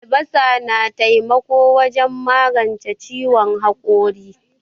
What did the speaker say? Albasa na taimako wajen maganche ciwon hakori.